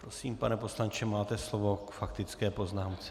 Prosím, pane poslanče, máte slovo k faktické poznámce.